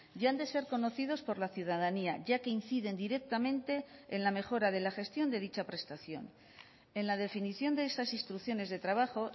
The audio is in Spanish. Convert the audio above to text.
y han de ser conocidos por la ciudadanía ya que inciden directamente en la mejora de la gestión de dicha prestación en la definición de esas instrucciones de trabajo